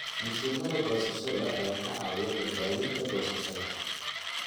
Mashiinnada goosashada ayaa ka caawiya badbaadinta goosashada.